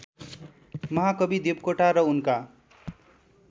महाकवि देवकोटा र उनका